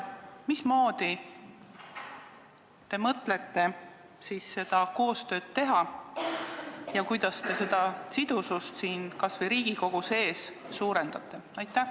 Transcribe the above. Mismoodi te mõtlete siis seda koostööd teha ja kuidas te seda sidusust kas või Riigikogu sees suurendate?